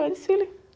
Era desfile.